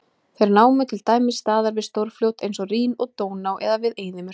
Þeir námu til dæmis staðar við stórfljót eins og Rín og Dóná eða við eyðimerkur.